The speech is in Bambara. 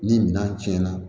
Ni minɛn tiɲɛna